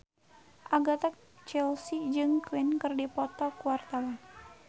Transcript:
Agatha Chelsea jeung Queen keur dipoto ku wartawan